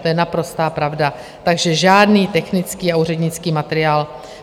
To je naprostá pravda, takže žádný technický a úřednický materiál.